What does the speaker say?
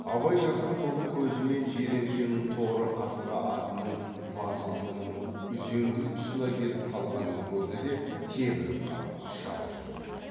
абай жасқа толы көзімен жиреншенің торы қасқа атының басы мұның үзенгілік тұсына келіп қалғанын көрді де тебініп қап шаба жөнелді